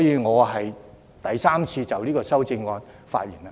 我第三次就這項修正案發言。